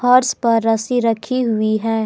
फर्स पर रस्सी रखी हुई है।